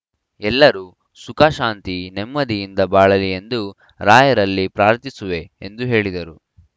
ಎಲ್ಲರು ಸುಖಶಾಂತಿ ನೆಮ್ಮದಿಯಿಂದ ಬಾಳಲಿ ಎಂದು ರಾಯರಲ್ಲಿ ಪ್ರಾರ್ಥಿಸುವೆ ಎಂದು ಹೇಳಿದರು